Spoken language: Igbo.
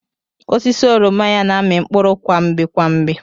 Osisi oroma ya na-ami mkpụrụ kwa mgbe kwa mgbe.